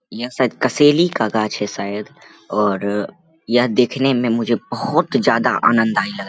यह शायद कसेली का गाछ है शायद और यह देखने में मुझे बहोत ज्यादा आनंद आया ।